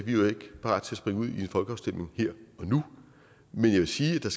en folkeafstemning her og nu men jeg vil sige at der